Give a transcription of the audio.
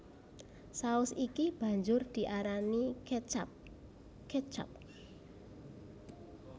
Saus iki banjur diarani catchup ketchup